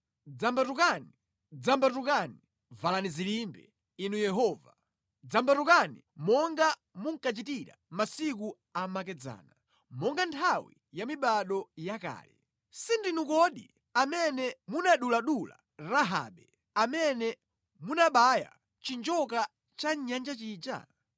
Dzambatukani, dzambatukani! Valani zilimbe, Inu Yehova; dzambatukani, monga munkachitira masiku amakedzana, monga nthawi ya mibado yakale. Si ndinu kodi amene munaduladula Rahabe, amene munabaya chinjoka cha mʼnyanja chija?